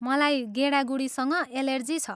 मलाई गेडागुडीसँग एलर्जी छ।